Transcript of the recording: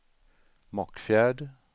Mockfjärd